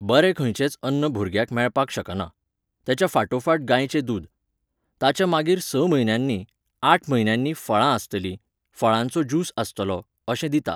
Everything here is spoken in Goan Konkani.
बरें खंयचेच अन्न भुरग्याक मेळपाक शकना. तेच्या फाटोफाट गायचे दूद. ताच्या मागीर स म्हयन्यांनी, आठ म्हयन्यांनी फळां आसतलीं, फळांचो ज्युस आसतलो, अशें दिता